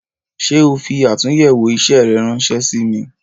Ṣé o fi atunyewo isẹ rẹ ránsẹ́ sí mi "